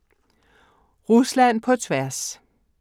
Rusland på tværs